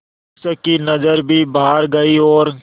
शिक्षक की नज़र भी बाहर गई और